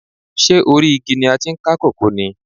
Ṣé orí igi ni a ti ń ká kókò ni?